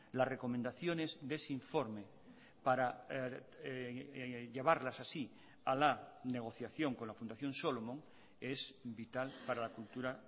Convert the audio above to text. las recomendaciones de ese informe para llevarlas así a la negociación con la fundación solomon es vital para la cultura